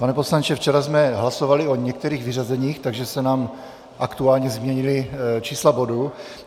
Pane poslanče, včera jsme hlasovali o některých vyřazeních, takže se nám aktuálně změnila čísla bodů.